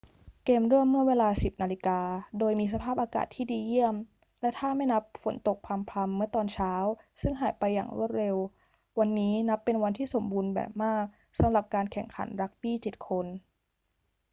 เกมเริ่มเมื่อเวลา 10.00 น โดยมีสภาพอากาศที่ดีเยี่ยมและถ้าไม่นับฝนตกพรำ ๆ เมื่อตอนเช้าซึ่งหายไปอย่างรวดเร็ว วันนี้นับเป็นวันที่สมบูรณ์แบบมากสำหรับการแข่งขันรักบี้ 7 คน